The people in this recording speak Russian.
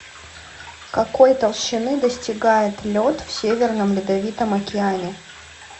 какой толщины достигает лед в северном ледовитом океане